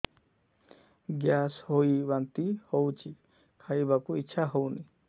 gas ହୋଇ ବାନ୍ତି ହଉଛି ଖାଇବାକୁ ଇଚ୍ଛା ହଉନି